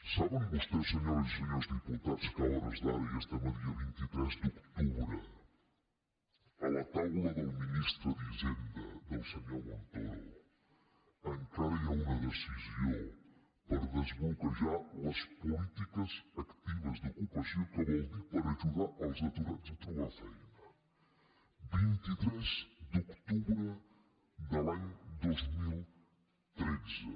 saben vostès senyores i senyors diputats que a hores d’ara i estem a dia vint tres d’octubre a la taula del ministre d’hisenda del senyor montoro encara hi ha una decisió per desbloquejar les polítiques actives d’ocupació que vol dir per ajudar els aturats a trobar feina vint tres d’octubre de l’any dos mil tretze